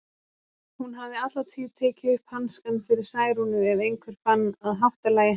Hún hafði alla tíð tekið upp hanskann fyrir Særúnu ef einhver fann að háttalagi hennar.